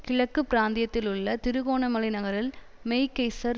கிழக்கு பிராந்தியத்திலுள்ள திருகோணமலை நகரில் மெக்கெய்ஸர்